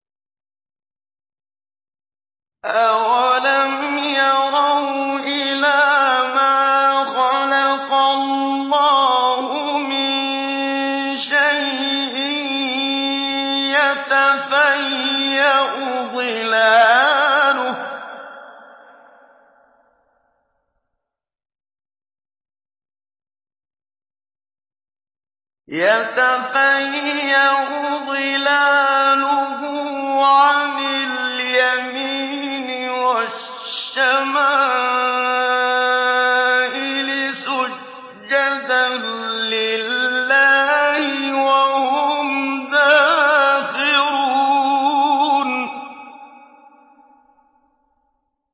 أَوَلَمْ يَرَوْا إِلَىٰ مَا خَلَقَ اللَّهُ مِن شَيْءٍ يَتَفَيَّأُ ظِلَالُهُ عَنِ الْيَمِينِ وَالشَّمَائِلِ سُجَّدًا لِّلَّهِ وَهُمْ دَاخِرُونَ